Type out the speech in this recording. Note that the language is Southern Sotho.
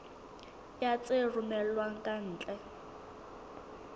ya tse romellwang ka ntle